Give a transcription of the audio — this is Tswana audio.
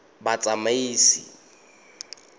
batsamaisi